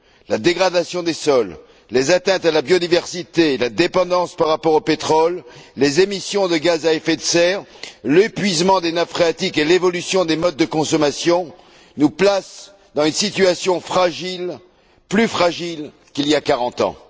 La dégradation des sols, les atteintes à la biodiversité, la dépendance par rapport au pétrole, les émissions de gaz à effet de serre, l'épuisement des nappes phréatiques et l'évolution des modes de consommation nous placent dans une situation fragile, plus fragile qu'il y a quarante ans.